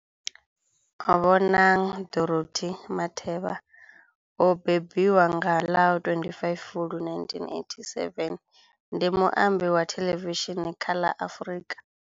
Bonang Dorothy Matheba o bebiwa nga ḽa 25 Fulwi 1987, ndi muambi wa thelevishini kha la Afrika.